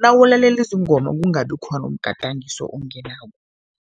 nawulalela izingoma kungabi khona umgadangiso ongenako.